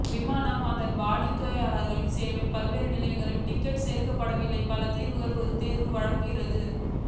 விமான அதன் வாடிக்கையாளர்களுக்கு சேவை பல்வேறு நிலைகளில் டிக்கெட் சேர்க்கப்படவில்லை பல தீர்வைகள் ஒரு தேர்வு வழங்குகிறது